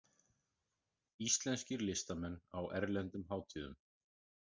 Íslenskir listamenn á erlendum hátíðum